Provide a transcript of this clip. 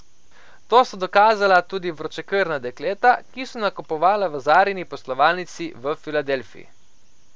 To so dokazala tudi vročekrvna dekleta, ki so nakupovala v Zarini poslovalnici v Filadelfiji.